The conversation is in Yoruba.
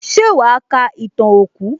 Ṣé wàá ka ìtàn òkú?